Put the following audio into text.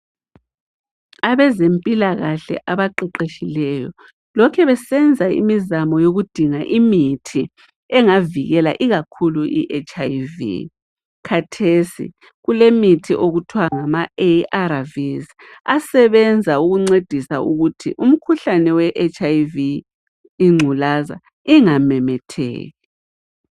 Abezempilkahle abaqeqetshileyo lokhe besenza imizamo yokudinga imithi engavikela ikakhulu iHIV. Khathesi kulemithi okuthwa ngamaARVs asebenza ukuncedisa ukuthi umkhuhlane weHIV ingculaza ingamemetheki.